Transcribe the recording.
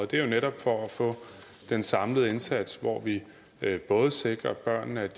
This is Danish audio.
det er jo netop for at få den samlede indsats hvor vi både sikrer at børnene